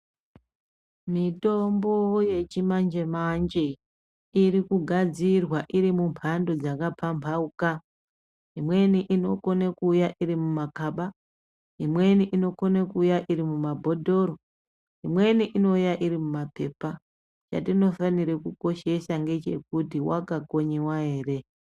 Mitombo yechimanje manje irikugadzirwa iri mhando dzakapamhamauka imweni inokone kuuya iri mumakaba, imweni inokone kuuya iri mumabhotoro, imweni inouya iri mumapepa, chatinofanire kukoshesa ngechekuti wakakonywa ere.